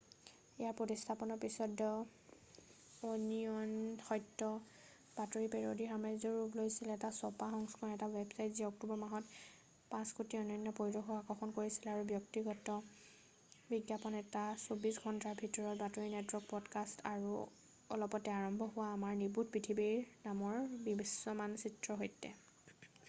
ইয়াৰ প্ৰতিস্থাপনৰ পিছত the Onion সত্য বাতৰি পেৰেডীৰ সাম্ৰাজ্যৰ ৰূপ লৈছে এটা ছপা সংস্কৰণৰ এটা ৱেবচাইট যিয়ে অক্টোবৰ মাহত 5,000,000 অনন্য পৰিদৰ্শকক আকৰ্ষণ কৰিছিল ব্যক্তিগত বিজ্ঞাপন এটা 24 ঘণ্টাৰ বাতৰিৰ নেটৱৰ্ক, পদকাষ্ট আৰু অলপতে আৰম্ভ কৰা আমাৰ নিৰ্বোধ পৃথিৱী নামৰ বিশ্বমানচিত্ৰৰ সৈতে।